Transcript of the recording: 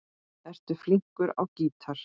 Ertu flinkur á gítar?